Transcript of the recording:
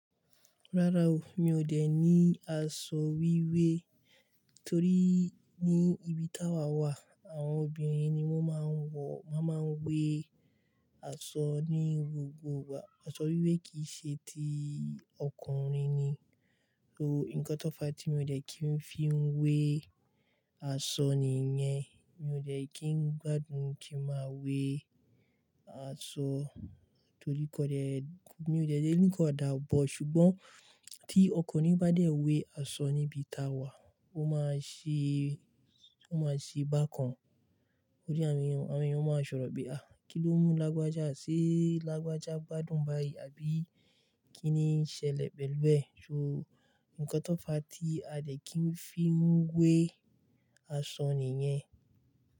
Rárá o, mi ò dẹ̀ ní aṣọ wíwé torí ní ibi tá wa wà, àwọn obìnrin ni wọ́n máa ń wọ, wọ́n máa ń wé asọ ní gbogbo ìgbà. Aṣọ wíwé kì í ṣe ti ọkùnrin ni, so nǹkan tó fà á tí mi ò dẹ̀ kí n fi wé asọ nìyẹn. Mi ò dẹ̀ kí n gbádùn kí n máa wé asọ torí kò dẹ̀, mi ò dẹ̀ jẹ́ nǹkan ọ̀dà bò. Ṣùgbọ́n tí ọkùnrin bá dẹ̀ wé asọ ní ibi tá wa, ó máa ṣe, ó máa ṣe bákan. Torí àwọn èèyàn, àwọn èèyàn máa sọ̀rọ̀ pé "àá ki ló mú lágbájá ṣe lágbájá gbádùn báyìí?" àbí "kí ni ṣẹlẹ̀ pẹ̀lú ẹ?" So nǹkan tó fà á tí a dẹ̀ kí n fi wé asọ nìyẹn.